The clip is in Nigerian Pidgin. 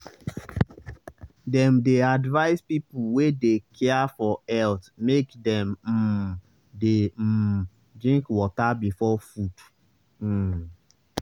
dem dey advise people wey dey care for health make dem um dey um drink water before food. um